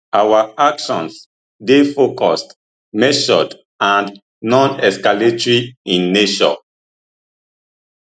our actions dey focused measured and nonescalatory in nature